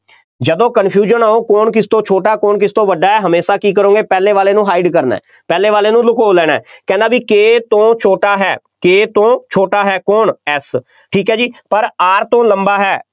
ਜਦੋਂ confusion ਆਊ, ਕੌਣ ਕਿਸ ਤੋਂ ਛੋਟਾ ਹੈ, ਕੌਣ ਕਿਸ ਤੋਂ ਵੱਡਾ ਹੈ, ਹਮੇਸ਼ਾ ਕੀ ਕਰੋਗੇ, ਪਹਿਲੇ ਵਾਲੇ ਨੂੰ hide ਕਰਨਾ, ਪਹਿਲੇ ਵਾਲੇ ਨੂੰ ਲੁਕੋ ਲੈਣਾ, ਕਹਿੰਦਾ ਬਈ K ਤੋਂ ਛੋਟਾ ਹੈ K ਤੋਂ ਛੋਟਾ ਹੈ, ਕੌਣ F ਠੀਕ ਹੈ ਜੀ, ਪਰ R ਤੋਂ ਲੰਬਾ ਹੈ,